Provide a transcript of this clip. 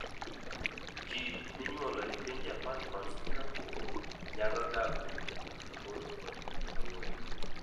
ji minyuolo e piny Japan kod Singapore nyalo dak kuom higni 84.